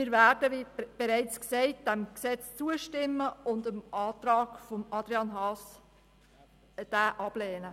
Wir werden diesem Gesetz zustimmen und den Antrag Haas ablehnen.